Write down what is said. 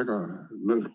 väga nõrk.